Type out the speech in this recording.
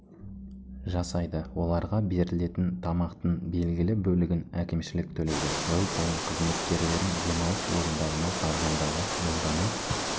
жасайды оларға берілетін тамақтың белгілі бөлігін әкімшілік төлейді жыл сайын кызметкерлерін демалыс орындарына барғандағы жолдама